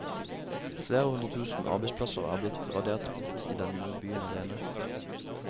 Flere hundre tusen arbeidsplasser er blitt radert bort i denne byen alene.